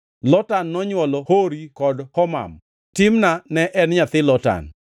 Lotan nonywolo Hori kod Homam. Timna ne en nyamin Lotan.